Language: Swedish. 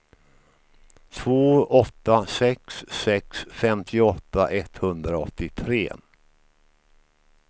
två åtta sex sex femtioåtta etthundraåttiotre